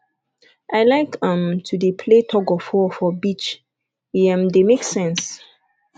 i like um to dey play tugofwar for beach e um dey make sense